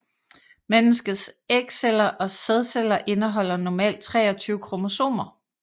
Menneskets ægceller og sædceller indeholder normalt 23 kromosomer